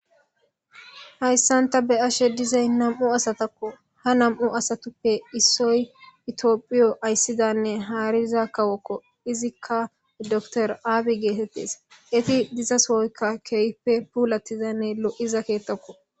Hayssanta be ashe dizay nam'u asatakko ha nam'u asatuppe issoy itiophiyo ayssidanne haariza kawokko izikka doktor aabi geetettes eti diza sooykka keeype puulattizanne lo'iza keettokko.